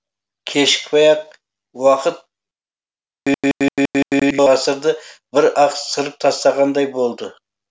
кешікпей ақ уақыт ғасырды бір ақ сырып тастағандай болды